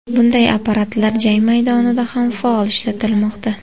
Bunday apparatlar jang maydonida ham faol ishlatilmoqda.